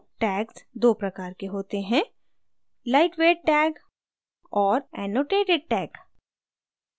tags दो प्रकार के होते हैं: